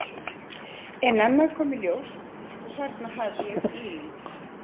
En annað kom nú í ljós og þarna hef ég ílenst.